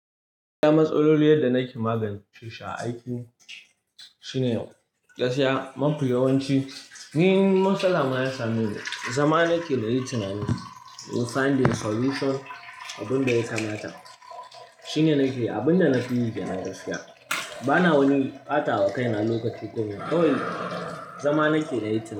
Ya matsaloli yadda nake magance su a aiki shine gaskiya mafi yawanci. In matsala ya same ni, zama nake nayi tunani in finding solution abin da ya kamata shine nake abin da na fi yi kenan gaskiya. Bana wani ɓatawa kai na lokaci kawai, zama nake nayi tun.